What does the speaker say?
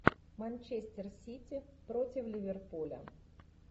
манчестер сити против ливерпуля